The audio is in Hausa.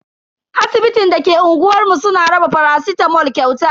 Asibitin da ke unguwar mu suna raba faracitamol kyauta.